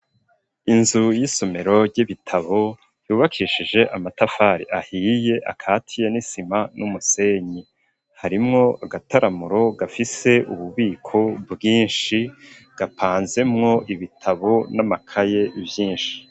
Inzu y'isomero ry'ibitabo yubakishije amatafari ahiye akatiye n'isima n'umusenyi harimwo agataramuro gafise ububiko bwishi gapanzemvo ibitabo n'amakaye vyishi.